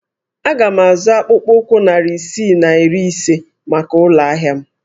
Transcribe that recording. Aga m azụ akpụkpọ ụkwụ narị isii na iri ise maka ụlọ ahịa m